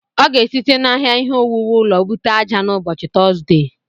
Ọ ga-esite n'ahịa ihe owuwu ụlọ bute ájá n'ụbọchị Tọzdee.